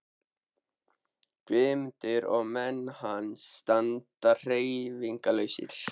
Guðmundur og menn hans standa hreyfingarlausir.